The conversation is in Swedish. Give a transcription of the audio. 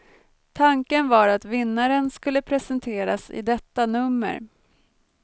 Tanken var att vinnaren skulle presenteras i detta nummer.